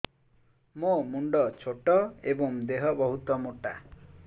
ମୋ ମୁଣ୍ଡ ଛୋଟ ଏଵଂ ଦେହ ବହୁତ ମୋଟା